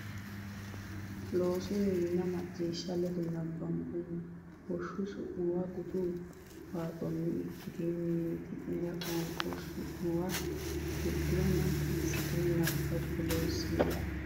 Loossinanni Macciishsha ledo nabbambummo Woshsho su muwa Gutu waaxotenni ikkitine mimmiti nera qoonqo su muwanna Gurduwa naggi assitine nabbabbe Loossinanni.